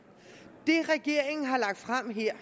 det regeringen har lagt frem her